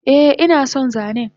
Eh inason zanen